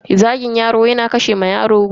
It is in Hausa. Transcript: Zagin yaro yana kashe wa yaro gwiwa.